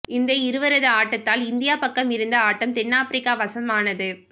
இந்த இருவரது ஆட்டத்தால் இந்தியா பக்கம் இருந்த ஆட்டம் தென் ஆப்பிரிக்கா வசம் ஆனது